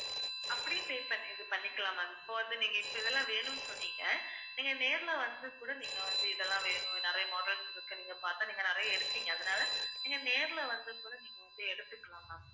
அப்படியே pay பண்ணி இது பண்ணிக்கலாம் ma'am இப்ப வந்து, நீங்க இப்ப இதெல்லாம் வேணும்னு சொன்னீங்க. நீங்க நேர்ல வந்து கூட நீங்க வந்து இதெல்லாம் வேணும் நிறைய models இருக்கு. நீங்க பார்த்தா நீங்க நிறைய எடுத்தீங்க அதனால நீங்க நேர்ல வந்து கூட நீங்க வந்து எடுத்துக்கலாம் ma'am